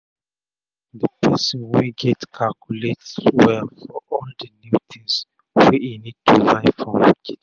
the person wey get calculate well for all the new things wey e need to buy for kitchen.